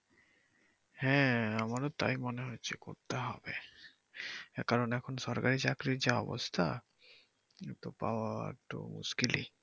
হ্যা আমারও তাই মনে হচ্ছে করতে হবে কারন এখন সরকারি চাকরির যা অবস্থা পাওয়া একটু মুশকিলই।